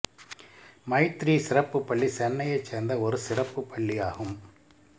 மைத்ரீ சிறப்பு பள்ளி சென்னையைச் சேர்ந்த ஒரு சிறப்பு பள்ளியாகும்